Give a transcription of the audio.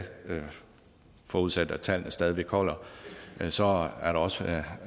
forudsat at tallene stadig væk holder så er der også